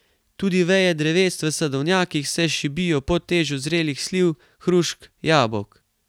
Tudi veje dreves v sadovnjakih se šibijo pod težo zrelih sliv, hrušk, jabolk.